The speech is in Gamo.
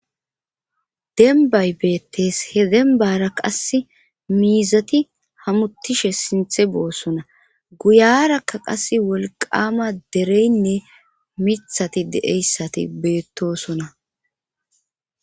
denbay beettees he dembara qasse miizati hamuttishe sinthe boossona guyarakka qas wolqama dereynne mithati de7eyssati beettosona